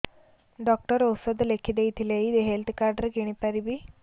doctor ଔଷଧ ଲେଖିଦେଇଥିଲେ ଏଇ ହେଲ୍ଥ କାର୍ଡ ରେ କିଣିପାରିବି